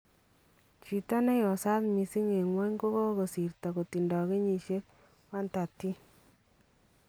Chito neyosaat missing en kwony kokasirto kotindo kenyisiek 113